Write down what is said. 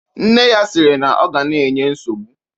Nne ya sịrị na ọ ga na-enye nsogbu